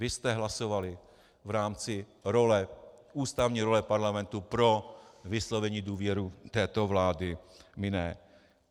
Vy jste hlasovali v rámci ústavní role parlamentu pro vyslovení důvěry této vládě, my ne.